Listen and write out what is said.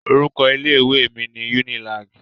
Orúkọ ilé mi ni Unilag.